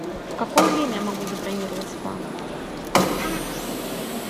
в какое время я могу забронировать спа